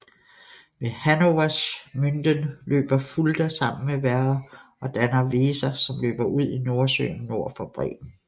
Ved Hannoversch Münden løber Fulda sammen med Werra og danner Weser som løber ud i Nordsøen nord for Bremen